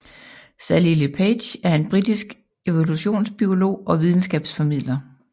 Sally Le Page er en britisk evolutionsbiolog og videnskabsformidler